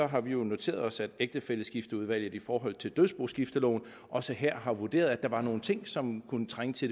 har vi jo noteret os at ægtefælleskifteudvalget i forhold til dødsboskifteloven også her har vurderet at der var nogle ting som kunne trænge til